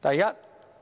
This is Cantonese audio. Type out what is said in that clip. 第一，《